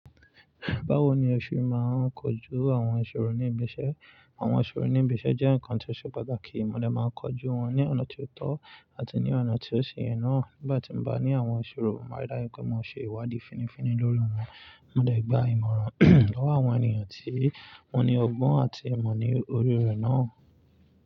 Báwo ni o ṣe máa ń kojú àwọn ìṣòro ní ibi iṣẹ́? Àwọn ìṣòro ní ibi iṣẹ́ jẹ́ nǹkan tí o ṣe pàtàkì mo dẹ̀ máa ń kojú wọn ní ọ̀nà tí ó tọ́ àti ní ọ̀nà tí ó sì yẹ náà. Nígbà tí n bá ní àwọn ìṣòro, mo máa rí dájú pé mo ṣe ìwádìí fínnífínní lórí wọn. Mo dẹ̀ gba ìmọ̀ràn lọ́wọ́ àwọn ènìyàn tí wọ́n ní ọgbọ́n àti ìmọ̀ ní orí rẹ̀ náà.